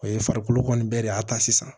O ye farikolo kɔni bɛɛ de y'a ta sisan